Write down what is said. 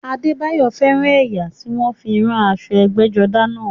Adébáyọ̀ fẹ́ràn ẹ̀yà tí wọ́n fi rán aṣọ ẹgbẹ́jọdá náà